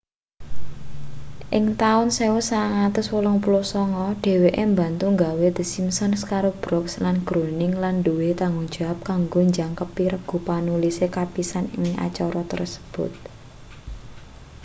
ing taun 1989 dheweke mbantu nggawe the simpsons karo brooks lan groening lan nduwe tanggung jawab kanggo njangkepi regu panulis kapisan ing acara kasebut